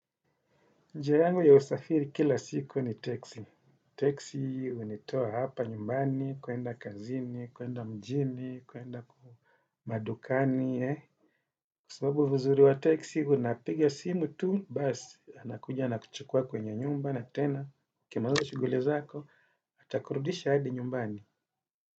Njia yangu ya usafiri kila siku ni teksi. Teksi hunitoa hapa nyumbani, kuenda kazini, kuenda mjini, kuenda madukani, eh. Kwasababu uzuri wa teksi unapiga simu tu, basi, anakuja, anakuchukua kwenye nyumba na tena. Ukimaliza shughuli zako, atakurudisha hadi nyumbani.